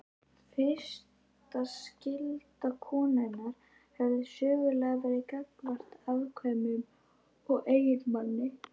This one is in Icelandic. Fyrsta skylda konunnar hefur sögulega verið gagnvart afkvæmum og eiginmanni.